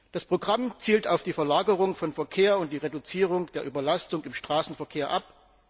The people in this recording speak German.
Das Programm zielt auf die Verlagerung von Verkehr und die Reduzierung der Überlastung im Straßenverkehr ab.